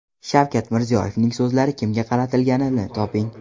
Shavkat Mirziyoyevning so‘zlari kimga qaratilganini toping.